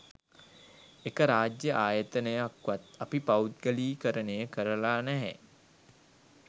එක රාජ්‍ය ආයතනයක්වත් අපි පෞද්ගලීකරණය කරලා නැහැ